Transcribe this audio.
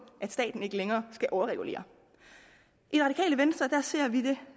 at staten ikke længere skal overregulere i venstre ser vi